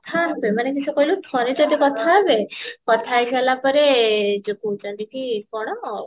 ହଁ ସେମାନେ ମିଛ କହିଲେ ଠାରେ ଯଦି କଥା ହେବେ କଥା ହେଇସାରିଲା ପରେ ଯଉ କହୁଛନ୍ତି କି କଣ